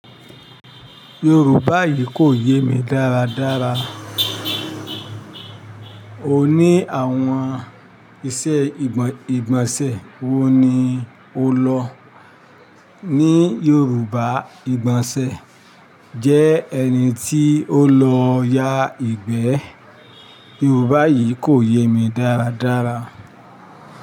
Yorùbá yìí kò yé mi dáradára. O ní àwọn iṣẹ́ ìgbọ̀n ìgbọ̀nsẹ̀ wo ni o lọ? Ní Yorùbá, ìgbọ̀nsẹ̀ jẹ́ ẹni tí ó lọ yá ìgbẹ́. Yorùbá yìí kò yé mi dáradára.